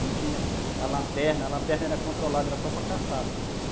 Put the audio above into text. Não tinha a lanterna, a lanterna era controlada, era só para caçada.